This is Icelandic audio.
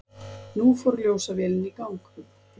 Nú fór ljósavélin í gang.